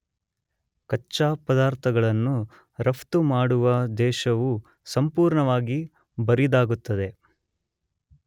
ಕಚ್ಚಾ ಪದಾರ್ಥಗಳನ್ನು ರಫ್ತು ಮಾಡುವ ದೇಶವು ಸಂಪೂರ್ಣವಾಗಿ ಬರಿದಾಗುತ್ತದೆ.